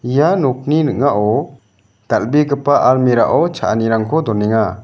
ia nokni ning·ao dal·begipa almira o cha·anirangko donenga.